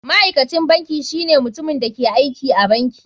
Ma'aikacin banki shine mutumin da ke aiki a banki.